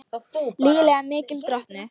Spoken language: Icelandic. Lygilega mikil drottnun